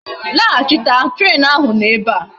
Lahachita! train ahu no ebea!